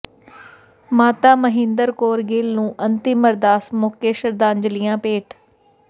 ਮਾਤਾ ਮਹਿੰਦਰ ਕੌਰ ਗਿੱਲ ਨੂੰ ਅੰਤਿਮ ਅਰਦਾਸ ਮੌਕੇ ਸ਼ਰਧਾਂਜਲੀਆਂ ਭੇਟ